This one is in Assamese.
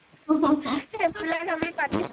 সেইবিলাক আমি পাতি